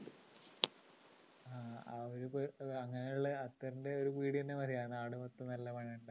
ആ ഒരു അങ്ങനെയുള്ള അത്തറിൻ്റെ ഒരു പീടിക തന്നെ മതി ആ നാട് മൊത്തം നല്ല മണമുണ്ടാവാൻ